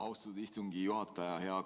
Austatud istungi juhataja!